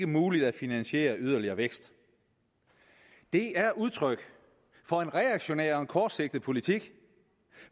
muligt at finansiere yderligere vækst det er udtryk for en reaktionær og en kortsigtet politik